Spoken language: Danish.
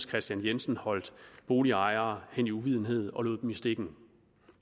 kristian jensen holdt boligejere hen i uvidenhed og lod dem i stikken